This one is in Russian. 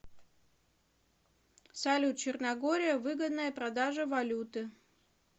салют черногория выгодная продажа валюты